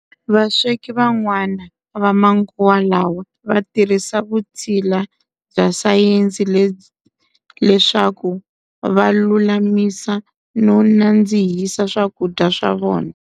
Vasweki van'wana va manguva lawa va tirhisa vutshila bya sayensi leswaku valulamisa no nadzihisa swakudya swa vona.